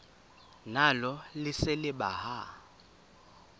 nalo lise libaha